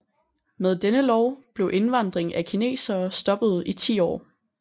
Med denne lov blev indvandring af kinesere stoppet i ti år